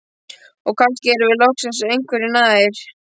Og kannski erum við loksins einhverju nær.